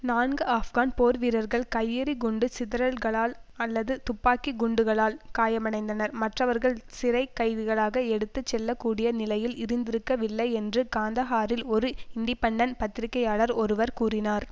நான்கு ஆப்கான் போர் வீரர்கள் கையெறி குண்டுச் சிதறல்களால் அல்லது துப்பாக்கி குண்டுகளால் காயமடைந்தனர் மற்றவர்கள் சிறை கைதிகளாக எடுத்து செல்ல கூடிய நிலையில் இருந்திருக்கவில்லை என்று காந்தஹாரில் ஒரு இன்டிப்பன்டன் பத்திரிகையாளர் ஒருவர் கூறினார்